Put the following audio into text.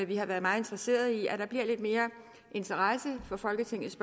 vi har været meget interesseret i nemlig at der bliver lidt mere interesse for folketingets